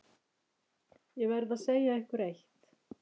Ég verð að segja ykkur eitt.